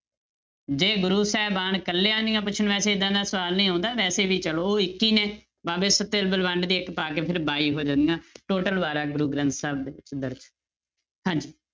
ਜੇ ਗੁਰੂ ਸਾਹਿਬਾਨ ਇਕੱਲਿਆਂ ਦੀਆਂ ਪੁੱਛਣ, ਵੈਸੇ ਏਦਾਂ ਦਾ ਸਵਾਲ ਨਹੀਂ ਆਉਂਦਾ ਵੈਸੇ ਵੀ ਚਲੋ ਇੱਕ ਹੀ ਨੇ ਬਾਬੇ ਸੱਤੇ ਬਲਵੰਡ ਦੀ ਇੱਕ ਪਾ ਕੇ ਫਿਰ ਬਾਈ ਹੋ ਜਾਂਦੀਆਂ total ਵਾਰਾਂ ਗੁਰੂ ਗ੍ਰੰਥ ਸਾਹਿਬ ਦੇ ਵਿੱਚ ਦਰਜ਼ ਹੈ ਹਾਂਜੀ